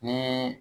Ni